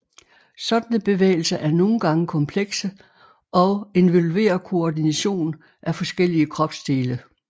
Sådanne bevægelser er nogen gange komplekse og involverer koordination af forskellige kropsdele